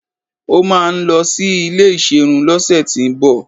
Ó máà ń lọ sí ilé ìserun lọ́sẹ̀tíbọ̀